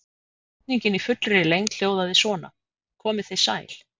Spurningin í fullri lengd hljóðaði svona: Komið þið sæl.